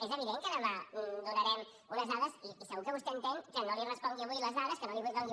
és evident que demà donarem unes dades i segur que vostè entén que no li respongui avui les dades que no li doni